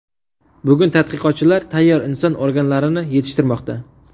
Bugun tadqiqotchilar tayyor inson organlarini yetishtirmoqda.